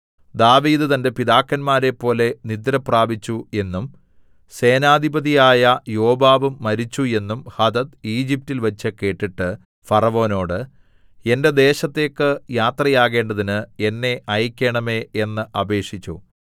ദാവീദ് തന്റെ പിതാക്കന്മാരെപ്പോലെ നിദ്രപ്രാപിച്ചു എന്നും സേനാധിപതിയായ യോവാബും മരിച്ചു എന്നും ഹദദ് ഈജിപ്റ്റിൽ വച്ച് കേട്ടിട്ട് ഫറവോനോട് എന്റെ ദേശത്തേക്ക് യാത്രയാകേണ്ടതിന് എന്നെ അയക്കേണമേ എന്ന് അപേക്ഷിച്ചു